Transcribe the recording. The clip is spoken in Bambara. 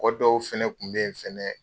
dɔw fɛnɛ kun bɛ ye fɛnɛ